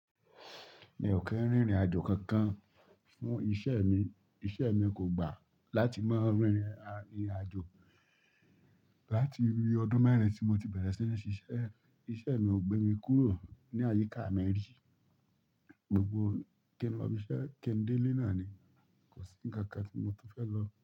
Mi ò kí ń rìnrìn àjò kankan fún iṣẹ́ mi. Iṣẹ́ mi kò gbà láti máa rìnrìn àjò. Láti ọdún mẹ́rin tí mo ti bẹ̀rẹ̀ sí ní ṣiṣẹ́, iṣẹ́ mi ò gbé mi kúrò ní àyíká mi rí. Gbogbo kí ń máa fiṣẹ́ kińdé lénà ni, kò sí ń kan kan tí mo tun fẹ́ lọ.